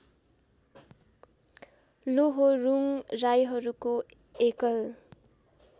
लोहोरुङ राईहरूको एकल